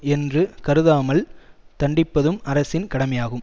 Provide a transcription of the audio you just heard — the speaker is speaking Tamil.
என்று கருதாமல் தண்டிப்பதும் அரசின் கடமையாகும்